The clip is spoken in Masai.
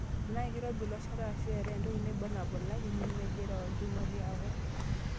Tenaa keiroobi iloshata eshuu etae entoki naibor nabulaki nemejira olchumati akuu.